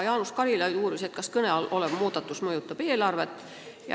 Jaanus Karilaid uuris, kas kõne all olev muudatus mõjutab eelarvet.